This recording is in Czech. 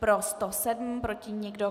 Pro 107, proti nikdo.